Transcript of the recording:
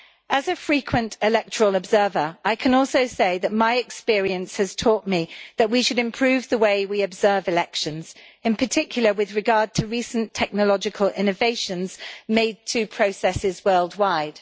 As a frequent electoral observer, I can also say that my experience has taught me that we should improve the way we observe elections, in particular with regard to recent technological innovations made to processes worldwide.